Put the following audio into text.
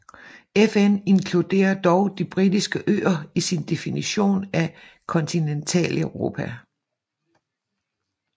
FN inkluderer dog De Britiske Øer i sin definition af Kontinentaleuropa